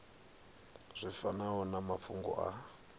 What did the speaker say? zwi fanaho na mafhungo a